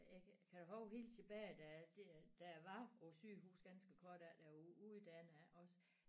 Jeg kan huske helt tilbage da det da jeg var på sygehus ganske kort da jeg var uddannet også